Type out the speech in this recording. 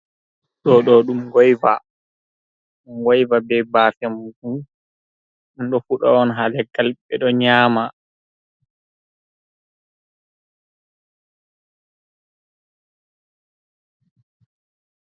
Ɗo ɗo ɗum ngoiva, ngoiva be baafe muɗum ɗum ɗo fuɗa on ha leggal, ɓe ɗo nyama.